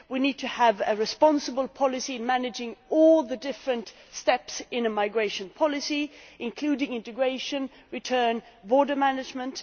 we need to have a responsible policy managing all the different steps in a migration policy, including integration, return and border management.